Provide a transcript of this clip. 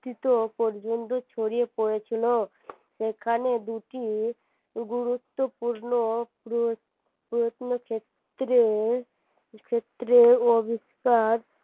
পর্যন্ত ছড়িয়ে পড়েছিল সেখানে দুটি গুরুত্বপূর্ণ প্রত্নক্ষেত্রে ক্ষেত্রে